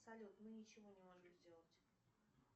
салют мы ничего не можем сделать